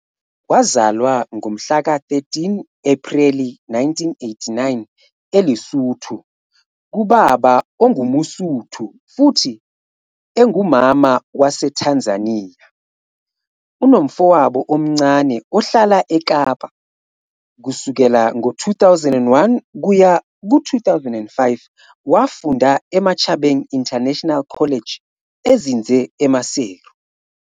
Wazalwa ngomhlaka 13 Ephreli 1989 eLesotho kubaba ongumMosotho futhi engumama waseTanzania. Unomfowabo omncane ohlala eKapa. Kusukela ngo-2001 kuya ku-2005, wafunda eMachabeng International College ezinze eMaseru.